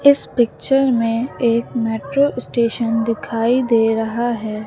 इस पिक्चर में एक मेट्रो स्टेशन दिखाई दे रहा है।